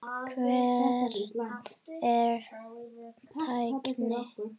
Hvar er tæknin?